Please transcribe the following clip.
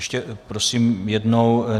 Ještě prosím jednou.